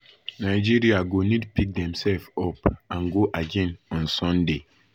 nigeria go need pick demsef up and go again on sunday wen